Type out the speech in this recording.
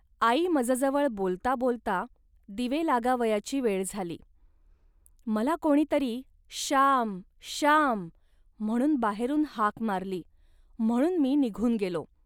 .आई मजजवळ बोलता बोलता दिवे लागावयाची वेळ झाली. मला कोणी तरी "श्याम श्याम" म्हणून बाहेरून हाक मारली, म्हणून मी निघून गेलो